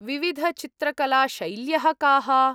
विविधचित्रकलाशैल्यः काः?